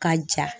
Ka ja